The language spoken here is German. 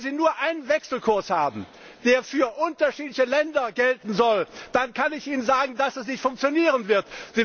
Wenn sie nur einen Wechselkurs haben, der für unterschiedliche Länder gelten soll, dann kann ich ihnen sagen, dass das nicht funktionieren wird.